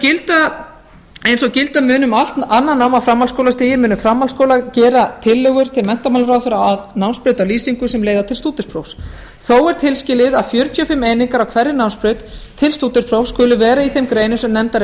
gilda mun um allt annað nám á framhaldsskólastigi munu framhaldsskólar gera tillögur til menntamálaráðherra að námsbrautarlýsingu sem leiða til stúdentsprófs þó er tilskilið að fjörutíu og fimm einingar á hverri námsbraut til stúdentsprófs skuli vera í þeim greinum sem nefndar